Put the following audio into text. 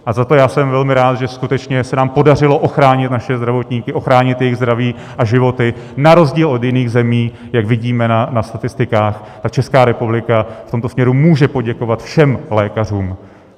A za to já jsem velmi rád, že skutečně se nám podařilo ochránit naše zdravotníky, ochránit jejich zdraví a životy, na rozdíl od jiných zemí, jak vidíme na statistikách, a Česká republika v tomto směru může poděkovat všem lékařům.